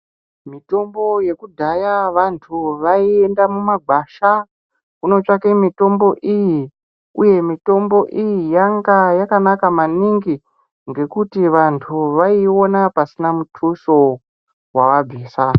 Mitombo yekudhaya vantu vaienda mumagwasha kotsvaga mitombo iyi uye mitombo iyi yanga yakanaka maningi ngekuti vantu vaiiona pasina mutuso wawabvisa.